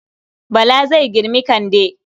Bala zai girmi Kande.